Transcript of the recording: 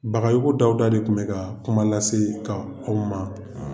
Bagayogo DAWUDA de tun bɛ ka kuma lase kƐ ma.